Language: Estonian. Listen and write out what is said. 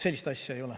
Sellist asja ei ole.